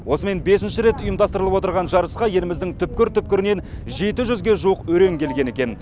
осымен бесінші рет ұйымдастырылып отырған жарысқа еліміздің түпкір түпкірінен жеті жүзге жуық өрен келген екен